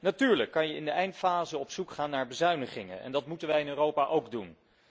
Natuurlijk kun je in de eindfase op zoek gaan naar bezuinigingen, en dat moeten wij in Europa ook doen.